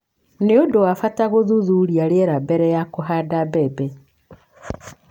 Nĩ ũndũ wa bata gũthuthuria rĩera mbere ya kũhanda mbembe.